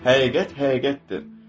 Həqiqət həqiqətdir.